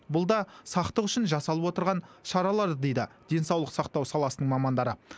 бұл да сақтық үшін жасалып отырған шаралар дейді денсаулық сақтау саласының мамандары